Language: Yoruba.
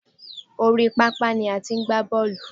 Oríi pápá ni a ti ń gba bọ́ọ̀lù.